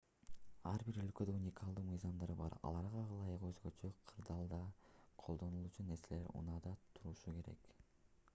ар бир өлкөдө уникалдуу мыйзамдар бар аларга ылайык өзгөчө кырдаалда колдонулуучу нерселер унаада турушу керек